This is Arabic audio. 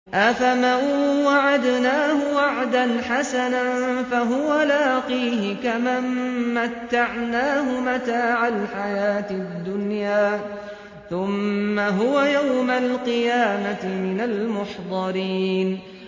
أَفَمَن وَعَدْنَاهُ وَعْدًا حَسَنًا فَهُوَ لَاقِيهِ كَمَن مَّتَّعْنَاهُ مَتَاعَ الْحَيَاةِ الدُّنْيَا ثُمَّ هُوَ يَوْمَ الْقِيَامَةِ مِنَ الْمُحْضَرِينَ